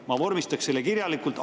Ma vormistaksin selle kirjalikult.